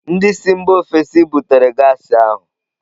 Ndị si mba ofesi butere gas ahụ.